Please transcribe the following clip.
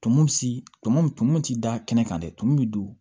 Tumu si tumu tumu ti da kɛnɛ kan dɛ tumu bi don